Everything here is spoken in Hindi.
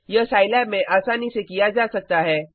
यह साईलैब में आसानी से किया जा सकता है